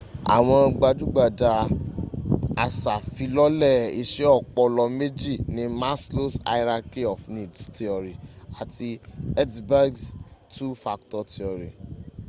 àwọn gbajúgbajù asàfilọ́lẹ̀ iṣẹ́ ọpọlọ méjì ni maslow's hierarchy of needs theory àti hertzberg's two factor theory